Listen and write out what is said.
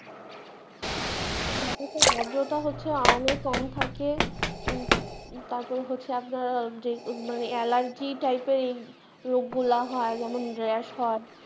বাতাসের আর্দ্রতা হচ্ছে আমে কম থাকে, তারপর হচ্ছে আপনার অ্যালার্জি টাইপের রোগ গুলা হয়, যেমন র‍্যশ হয়